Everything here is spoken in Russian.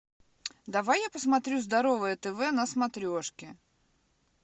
давай я посмотрю здоровое тв на смотрешке